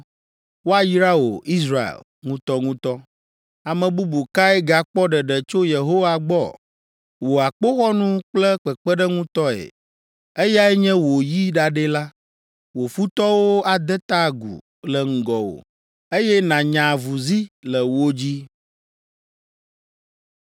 Woayra wò, Israel, ŋutɔŋutɔ! Ame bubu kae gakpɔ ɖeɖe tso Yehowa gbɔ? Wò akpoxɔnu kple kpeɖeŋutɔe! Eyae nye wò yi ɖaɖɛ la. Wò futɔwo ade ta agu le ŋgɔwò eye nànya avuzi le wo dzi!”